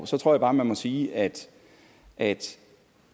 så tror jeg bare man må sige at at